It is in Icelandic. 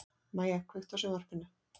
Mæja, kveiktu á sjónvarpinu.